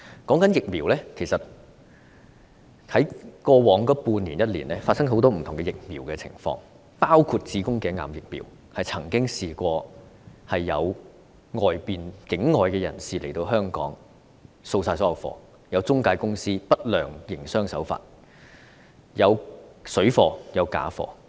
關於疫苗，其實過去半年至一年發生了很多不同的情況，包括有境外人士來港掃清所有子宮頸癌疫苗存貨、有中介公司採取不良營商手法、市面出現水貨及假貨等。